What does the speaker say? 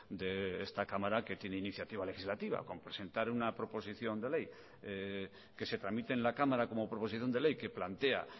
de esta cámara que tiene iniciativa legislativa con presentar una proposición de ley que se tramite en la cámara como proposición de ley que plantea